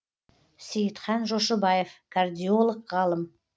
сейітхан жошыбаев кардиолог ғалым